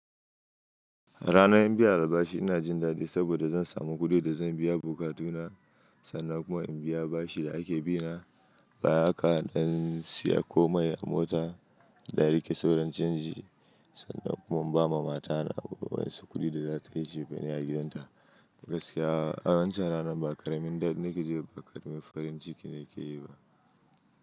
Ranan in biya albashi ina jin dadi saboda zan samu kudi da zan biya bokatu na, sannan kuma in biya bashi da ake bina, baya haka dan siya komai a mota da rike sauran canji sannan kuma in bawa mata na wasu kudi da za tayi chefanai a gidan ta. Gaskiya a wancen ranan ba karamin dadi na kile jiba ba karamin farin ciki ne ke yi ba.